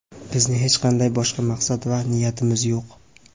Bizning hech qanday boshqa maqsad va niyatimiz yo‘q.